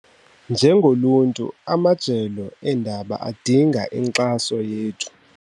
Njengoluntu amajelo eendaba adinga inkxaso yethu.